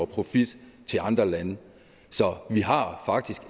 profit til andre lande så vi har faktisk